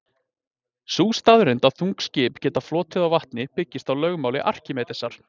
Sú staðreynd að þung skip geta flotið á vatni byggist á lögmáli Arkímedesar.